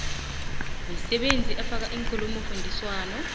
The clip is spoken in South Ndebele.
misebenzi efaka iinkulumofundiswano